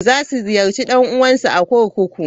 Za su ziyarci ɗan'uwansu a kurkuku.